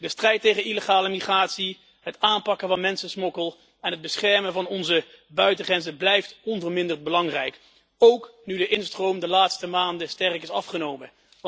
De strijd tegen illegale migratie, het aanpakken van mensensmokkel en het beschermen van onze buitengrenzen blijft onverminderd belangrijk, ook nu de instroom de laatste maanden sterk is afgenomen.